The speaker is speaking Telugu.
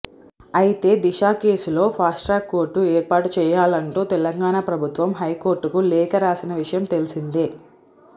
అయితే దిశ కేసులో ఫాస్ట్ ట్రాక్ కోర్టు ఏర్పాటు చేయాలంటూ తెలంగాణ ప్రభుత్వం హైకోర్టుకు లేఖ రాసిన విషయం తెలిసిందే